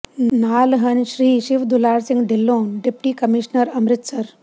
ਨਾਲ ਹਨ ਸ੍ਰ ਸ਼ਿਵਦੁਲਾਰ ਸਿੰਘ ਢਿਲੋਂ ਡਿਪਟੀ ਕਮਿਸ਼ਨਰ ਅੰਮ੍ਰਿਤਸਰ